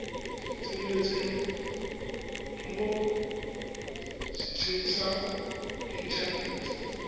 tseneletseng mo setsheng sa inthanete